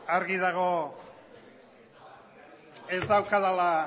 argi dago ez daukadala